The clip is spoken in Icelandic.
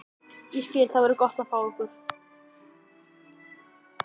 Ég skil- Það verður gott að fá ykkur.